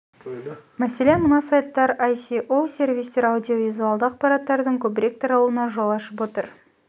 мәселен мына сайттар аеа іі ісоо соаа оое аіа сервистер аудио-визуалды ақпараттардың көбірек таралуына жол ашып отыр